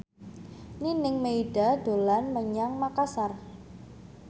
Nining Meida dolan menyang Makasar